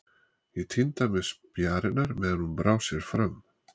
Ég tíndi af mér spjarirnar meðan hún brá sér fram.